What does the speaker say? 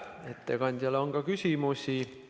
Ettekandjale on küsimusi.